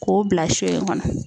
K'o bila sɔn in kɔnɔ